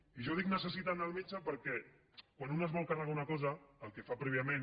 i jo dic necessiten anar al metge perquè quan un es vol carregar una cosa el que fa prèviament